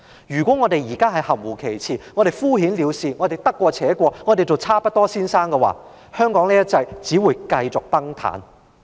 如果我們含糊其辭、敷衍了事、得過且過，或我們都做"差不多先生"，"一國兩制"將會繼續崩塌。